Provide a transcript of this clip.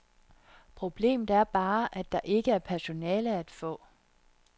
Problemet er bare, at der ikke er personale at få.